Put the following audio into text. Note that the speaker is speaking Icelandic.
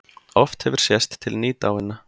Oft hefur sést til nýdáinna